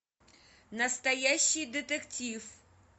настоящий детектив